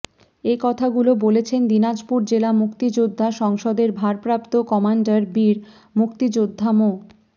এ কথাগুলো বলেছেন দিনাজপুর জেলা মুক্তিযোদ্ধা সংসদের ভারপ্রাপ্ত কমান্ডার বীর মুক্তিযোদ্ধা মো